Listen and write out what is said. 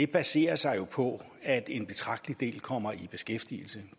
baserer sig på at en betragtelig del kommer i beskæftigelse